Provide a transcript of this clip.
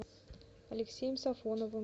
алексеем сафоновым